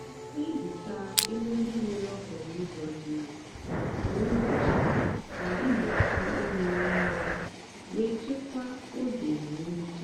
na-ehicha ebe ndị nwere okporo ụzọ dị elu kwa ụbọchị ka igbochi unyi nwuo wee chekwaa oge ma emechaa.